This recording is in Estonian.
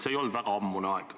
See ei olnud väga ammune aeg.